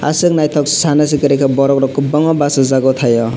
asok naitok sana si koroi ka borok rok kobangma basajak o tai o.